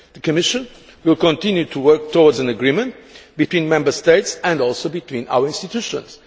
The Commission will continue to work towards an agreement between Member States and also between our institutions.